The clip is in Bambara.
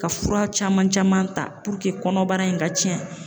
Ka fura caman caman ta puruke kɔnɔbara in ka cɛn.